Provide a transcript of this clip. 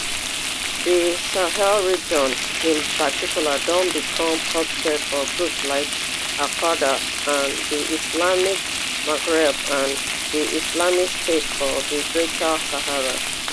di sahel region in particular don become hotbed for groups like alqaeda for di islamic maghreb and di islamic state for di greater sahara